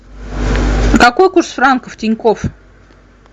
какой курс франков тинькофф